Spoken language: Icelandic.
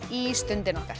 í Stundina okkar